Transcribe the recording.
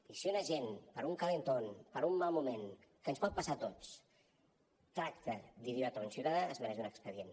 i si un agent per un calentón per un mal moment que ens pot passar a tots tracta d’idiota un ciutadà es mereix un expedient